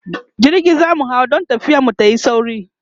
jirgi zamu hau dan tafiyar mu tayi sauri